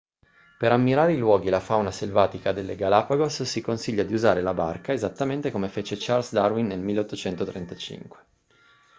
per ammirare i luoghi e la fauna selvatica delle galapagos si consiglia di usare la barca esattamente come fece charles darwin nel 1835